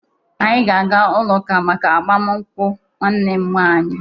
Anyị ga-aga n'ụlọụka maka agbamaakwụkwọ nwanne m nwaanyị